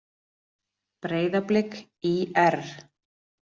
Breiðablik- ÍR